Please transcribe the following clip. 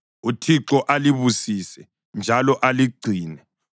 “ UThixo alibusise njalo aligcine;